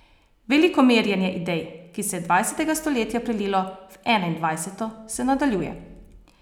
Veliko merjenje idej, ki se je dvajsetega stoletja prelilo v enaindvajseto, se nadaljuje.